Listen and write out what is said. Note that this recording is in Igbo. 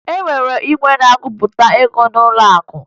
E nwere igwe na-agụpụta ego n'ụlọakụ